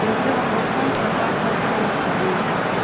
пенсионный фонд на красную семьдесят девять